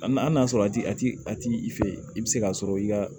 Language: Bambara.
A n'a sɔrɔ a tigi a t'i a t'i i fɛ yen i bɛ se k'a sɔrɔ i ka